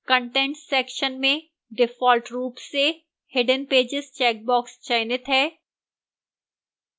contents section में default रूप से hidden pages checkbox चयनित है